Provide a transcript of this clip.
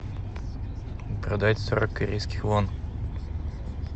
продать сорок корейских вон